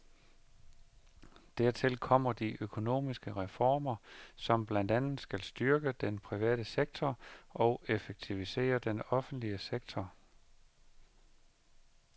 Dertil kommer de økonomiske reformer, som blandt andet skal styrke den private sektor og effektivisere den offentlige sektor.